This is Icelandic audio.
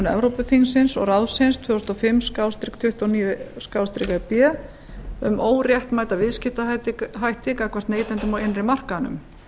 evrópuþingsins og ráðsins tvö þúsund og fimm tuttugu og níu e b um óréttmæta viðskiptahætti gagnvart neytendum á innri markaðnum